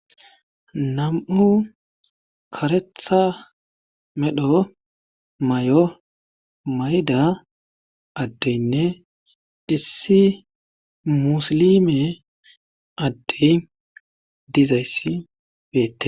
nam7u karetha medho may7o mayda addeynne issi musilime addey dizayssi beette